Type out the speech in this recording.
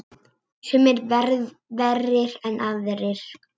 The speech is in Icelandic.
Sumir verri en aðrir.